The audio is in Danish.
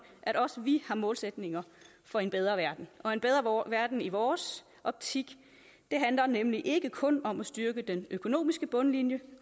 at også vi har målsætninger for en bedre verden og en bedre verden i vores optik handler nemlig ikke kun om at styrke den økonomiske bundlinje